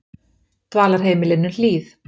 Dvalarheimilinu Hlíð